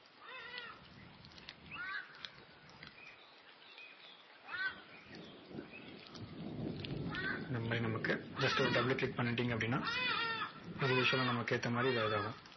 இந்த மாதிரி நமக்கு just ஒரு double click பண்ணிட்டீங்க அப்படின்னா, இது usual லா நமக்கு ஏத்த மாதிரி இதா~ இதாகும்.